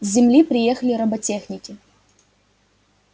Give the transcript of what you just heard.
с земли приехали роботехники